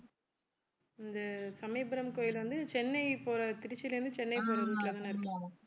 இந்த சமயபுரம் கோயில் வந்து சென்னை போற திருச்சியில இருந்து சென்னை போற route தான இருக்கு